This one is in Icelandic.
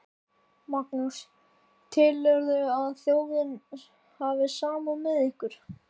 Magnús: Telurðu að þjóðin hafi samúð með ykkur?